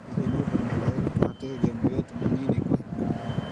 Hihi nĩ ũndũ mwagĩrĩru kũhatĩrĩria mũirĩtu mũnini kũhika?